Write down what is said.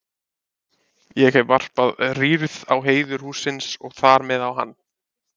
Ég hef varpað rýrð á heiður hússins og þar með á hann.